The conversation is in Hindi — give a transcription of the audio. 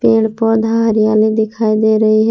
पेड़ पौधा हरियाली दिखाई दे रही है।